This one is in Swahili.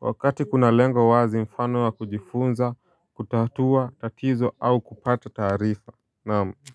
Wakati kuna lengo wazi mfano wa kujifunza kutatua tatizo au kupata taarifa naam. Kwa hivyo.